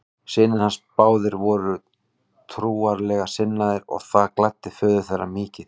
Synir hans báðir voru trúarlega sinnaðir og það gladdi föður þeirra mikið.